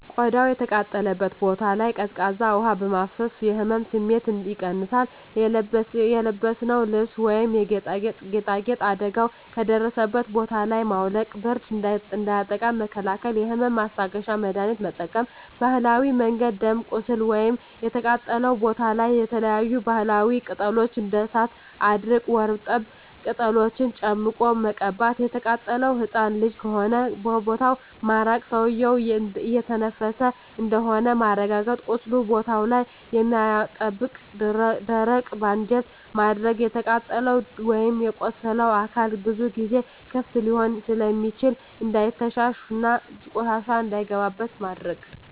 ቆዳው የተቃጠለበት ቦታ ላይ ቀዝቃዛ ውሀ በማፍሰስ የህመም ስሜቱን ይቀንሳል :የለበስነውን ልብስ ወይም ጌጣጌጥ አደጋው ከደረሰበት ቦታ ላይ ማውለቅ ብርድ እንዳያጠቃን መከላከል የህመም ማስታገሻ መድሀኒት መጠቀም በባህላዊ መንገድ ደም ቁስሉ ወይም የተቃጠለው ቦታ ላይ የተለያዪ የባህላዊ ቅጠሎች እንደ እሳት አድርቅ ወርጠብ ቅጠሎችን ጨምቆ መቀባት። የተቃጠለው ህፃን ልጅ ከሆነ ከቦታው ማራቅ ሰውዬው እየተነፈሰ እንደሆነ ማረጋገጥ ቁስሉ ቦታ ላይ የማያጣብቅ ደረቅ ባንዴጅ ማድረግ። የተቃጠለው ወይም የቆሰለው አካል ብዙ ጊዜ ክፍት ሊሆን ስለሚችል እንዳይተሻሽ እና ቆሻሻ እንዳይገባበት ማድረግ።